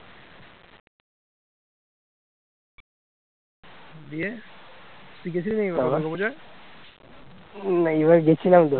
উম এইবার গেছিলাম তো